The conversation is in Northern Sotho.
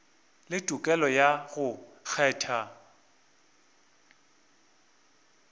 le tokelo ya go kgetha